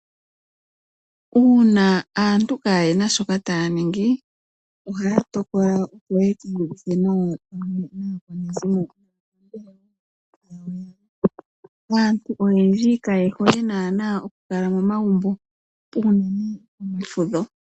Uuna aantu kaayena shoka taya ningi, ohaya tokola yekii ninge nawa pamwe naakwanezimo yawo. Aantu oyendji kaye hole naana okukala momagumbo, unene pefudho.